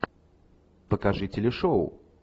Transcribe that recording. покажи телешоу